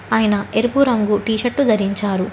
ఆయన ఎరుపు రంగు టీ షర్టు ధరించారు.